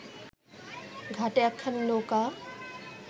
ঘাটে একখানি নৌকা